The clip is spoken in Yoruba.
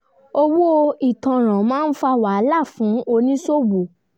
owó ìtanràn máa ń fa wahala fún oníṣòwò